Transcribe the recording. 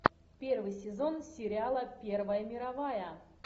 первый сезон сериала первая мировая